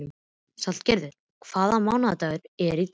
Salgerður, hvaða mánaðardagur er í dag?